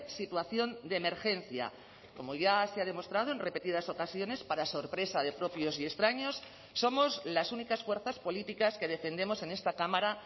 situación de emergencia como ya se ha demostrado en repetidas ocasiones para sorpresa de propios y extraños somos las únicas fuerzas políticas que defendemos en esta cámara